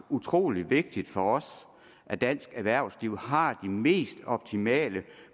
utrolig vigtigt for os at dansk erhvervsliv har de mest optimale